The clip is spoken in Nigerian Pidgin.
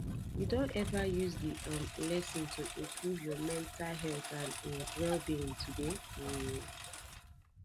you don ever use di um lesson to improve your mental health and um wellbeing today um